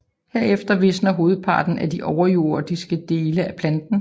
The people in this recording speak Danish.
Herefter visner hovedparten af de overjordiske dele af planten